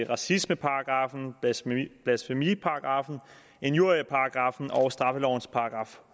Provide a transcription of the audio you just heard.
racismeparagraffen blasfemiparagraffen injurieparagraffen og straffelovens §